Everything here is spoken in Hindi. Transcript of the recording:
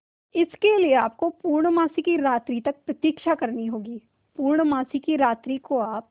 इसके लिए आपको पूर्णमासी की रात्रि तक प्रतीक्षा करनी होगी पूर्णमासी की रात्रि को आप